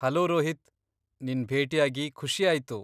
Hello Rohit, ನಿನ್ ಭೇಟಿಯಾಗಿ ಖುಷಿ ಆಯ್ತು.